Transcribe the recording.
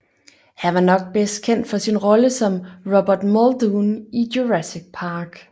Han var nok bedst kendt for sin rolle som Robert Muldoon i Jurassic Park